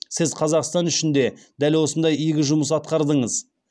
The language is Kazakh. сіз қазақстан үшін де дәл осындай игі жұмыс атқардыңыз